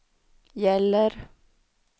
gäller